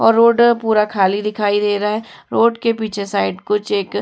और रोड पूरा खाली दिखाई दे रहा है। रोड के पीछे साइड कुछ एक --